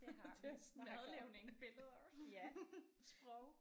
Det har vi madlavning billeder sprog